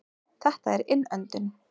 Þetta er innöndun.